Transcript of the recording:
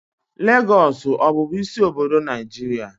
Lagos ọ bụbu isi obodo Naijiria?